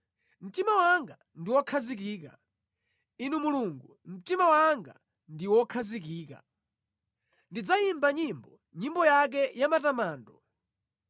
Mtima wanga ndi wokhazikika, Inu Mulungu mtima wanga ndi wokhazikika. Ndidzayimba nyimbo, nyimbo yake yamatamando.